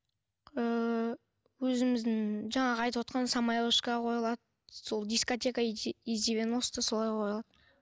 ыыы өзіміздің жаңағы айтывотқан самая вышка қойылады сол дискотека из девяносто солай қойылады